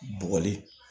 Bɔgɔli